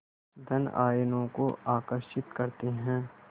धन आयनों को आकर्षित करते हैं